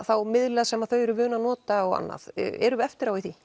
þá miðla sem þau eru vön að nota og annað erum við eftir á í því